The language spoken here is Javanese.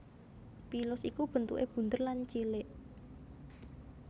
Pilus iku bentukè bunder lan cilik